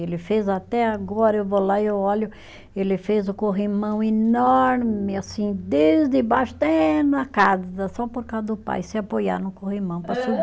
Ele fez até agora, eu vou lá e eu olho, ele fez o corrimão enorme, assim, desde baixo até na casa, só por causa do pai se apoiar no corrimão para